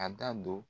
A da don